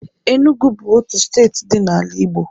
Enugu bụ otu steeti dị n'ala Igbo.